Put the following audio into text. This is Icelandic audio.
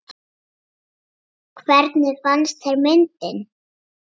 Hvernig fannst þér myndin?